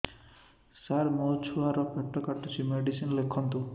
ସାର ମୋର ଛୁଆ ର ପେଟ କାଟୁଚି ମେଡିସିନ ଲେଖନ୍ତୁ